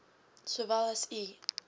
sowel as u